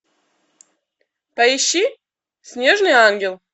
поищи снежный ангел